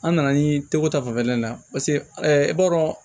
An nana ni tɛgɛko ta fanfɛla ye i b'a dɔn